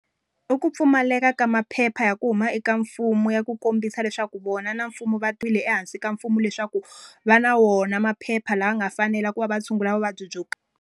I ku pfumaleka ka maphepha ya ku huma eka mfumo ya ku kombisa leswaku vona na mfumo va ehansi ka mfumo leswaku, va na wona maphepha lama nga fanela ku va va tshungula vuvabyi byo .